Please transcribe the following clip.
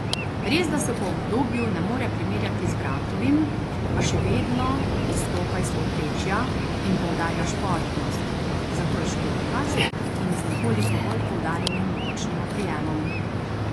Resda se po udobju ne more primerjati z bratovim, a še vedno izstopa iz povprečja in poudarja športnost, zato je školjkast in z nekoliko bolj poudarjenim bočnim oprijemom.